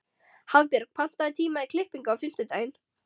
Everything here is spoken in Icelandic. Hafbjörg, pantaðu tíma í klippingu á fimmtudaginn.